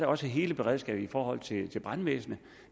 også hele beredskabet i forhold til til brandvæsenet